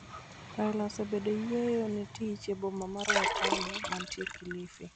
Raila osebedo e yueyo ne tich e boma mar Watamu, mantie Kilifi